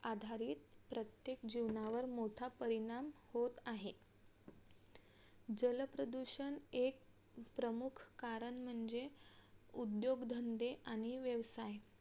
आधारित प्रत्येक जीवनावर मोठा परिणाम होत आहे जलप्रदूषण एक प्रमुख कारण म्हणजे उद्योगधंदे आणि व्यवसाय